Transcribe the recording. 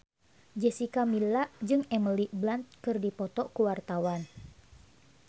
Jessica Milla jeung Emily Blunt keur dipoto ku wartawan